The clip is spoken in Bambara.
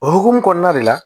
O hukumu kɔnɔna de la